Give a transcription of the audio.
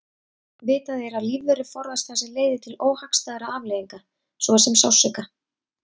Vitað er að lífverur forðast það sem leiðir til óhagstæðra afleiðinga svo sem sársauka.